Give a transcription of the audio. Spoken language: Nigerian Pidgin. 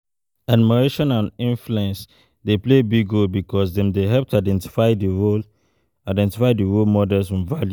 Admiration and influence dey play big role because dem dey help to identify di role identify di role models and values.